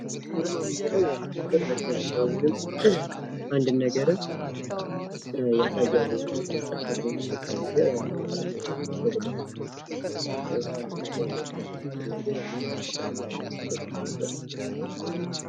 አርማን መጠቀም የአንድን ነገር መገለጫ ነው ።